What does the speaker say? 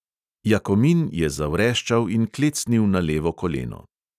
Jakomin je zavreščal in klecnil na levo koleno.